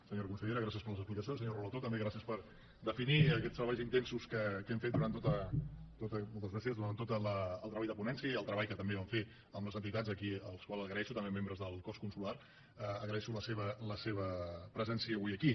senyora consellera gràcies per les explicacions senyor relator també gràcies per definir aquests treballs intensos que hem fet durant tot el treball de ponència i el treball que també vam fer amb les entitats aquí als quals agraeixo també membres del cos consular la seva presència avui aquí